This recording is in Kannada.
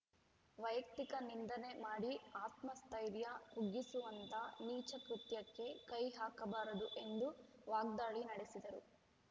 ವೈಯುಕ್ತಿಕ ನಿಂದನೆ ಮಾಡಿ ಆತ್ಮಸ್ಥೈರ್ಯ ಕುಗ್ಗಿಸುವಂತ ನೀಚ ಕೃತ್ಯಕ್ಕೆ ಕೈ ಹಾಕಬಾರದು ಎಂದು ವಾಗ್ದಾಳಿ ನಡೆಸಿದರು